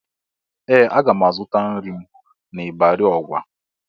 Ee! Aga m azụta nri m n'ịbarị Ọgwa.